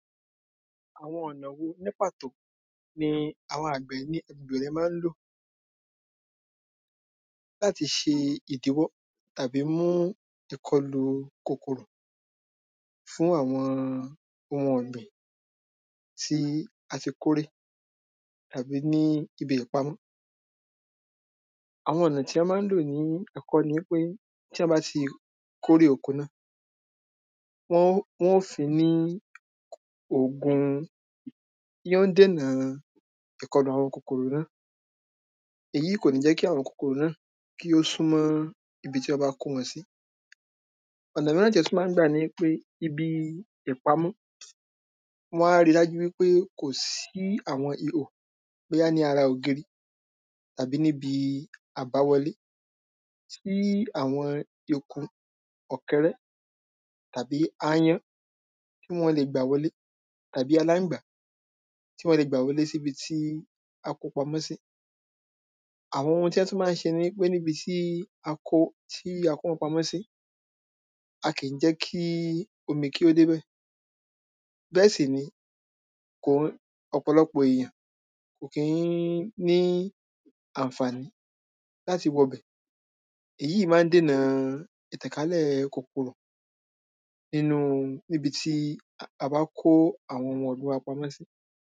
àwọn ọ̀nà wo ní pàtó ni àwọn àgbẹ̀ ní agbègbè rẹ má ń lò láti ṣe ìdíwọ́ tàbí mú ìkọlù kòkòrò fún àwọn ohun ọ̀gbìn tí a ti kórè àbí ní ibi ìpamọ́ àwọn ọ̀nà tí a má ń lò ní àkọ́kọ́ ní wípé tí èyàn báti kórè oko náà wọn ó wọn ó fin ní ògùn tí ó ń dènà ìkọlù àwọn kòkòrò náà èyí kò ní jẹ́ ki àwọn kòkòrò náà kí ó súnmọ́ ibi tí wọ́n bá kó wọn sí ọ̀nà míràn tí wọ́n máń gbà niwípé ibi ìpamọ́ wọ́n á ri dájú wípé kò sí àwọn ihò bóyá ní ara ògiri tàbí níbi àbáwọlé tí àwọn eku ọ̀kẹ́rẹ́ tàbí áyán tí wọ́n le gbà wolé tàbí aláǹgbá tí wọ́n le gbà wọlé síbi tí a ko pamọ́ sí àwọn ohun tí wọ́n tún má ń se niwípé níni tí a kó tí a kó wọn pamọ́ sí a kì jẹ́ í omi kí ó débẹ̀ bẹ́ẹ̀ sì ni kò ń ọ̀pọ̀lọpọ̀ èyàn kò kí ní ànfàní láti wọ bẹ̀ èyí má ń dènà ìtànkálẹ̀ kòkòrò nínú níbití a bákó àwọn ohun ọ̀gbìn wa pamọ́ sí